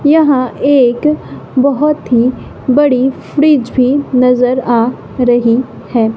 यहां एक बहोत ही बड़ी फ्रिज भी नजर आ रही है।